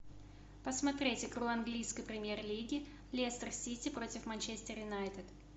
посмотреть игру английской премьер лиги лестер сити против манчестер юнайтед